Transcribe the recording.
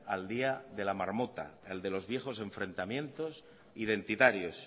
al día de la marmota al de los viejos enfrentamiento identitarios